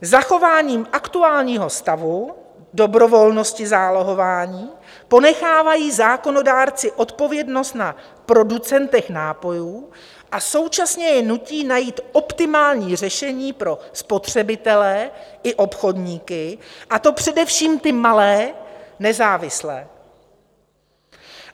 Zachování aktuálního stavu dobrovolnosti zálohování ponechávají zákonodárci odpovědnost na producentech nápojů a současně je nutí najít optimální řešení pro spotřebitele i obchodníky, a to především ty malé, nezávislé.